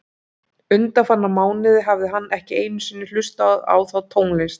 Undanfarna mánuði hafði hann ekki einu sinni hlustað á þá tónlist.